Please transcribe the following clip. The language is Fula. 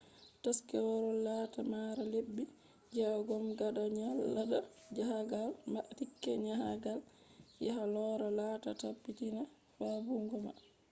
taskirawol laata mara lebbi jeyego gaada nyalade njahagal ma.tiket njahagal yaha loora laata taabitiinaa fabbugoma